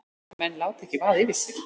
Menn láta ekki vaða yfir sig